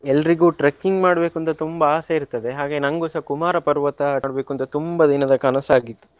ಎಲ್ರಿಗೂ trekking ಮಾಡ್ಬೇಕು ಅಂತ ತುಂಬಾ ಆಸೆ ಇರ್ತದೆ ಹಾಗೆ ನಂಗುಸ ಕುಮಾರ ಪರ್ವತ ನೋಡ್ಬೇಕುಂತ ತುಂಬಾ ದಿನದ ಕನಸಾಗಿತ್ತು.